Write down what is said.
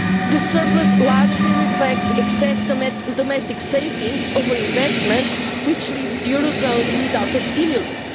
The surplus largely reflects excess domestic savings over investment, which leaves the eurozone without a stimulus.